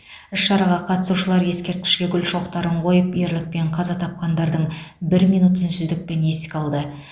іс шараға қатысушылар ескерткішке гүл шоқтарын қойып ерлікпен қаза тапқандардың бір минут үнсіздікпен еске алды